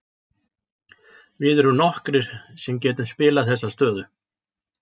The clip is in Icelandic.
Við erum nokkrir sem getum spilað þessa stöðu.